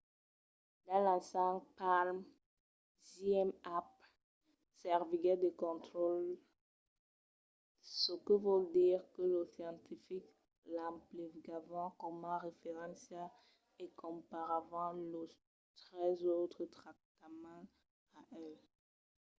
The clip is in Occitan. dins l'ensag palm zmapp serviguèt de contraròtle çò que vòl dire que los scientifics l’emplegavan coma referéncia e comparavan los tres autres tractaments a el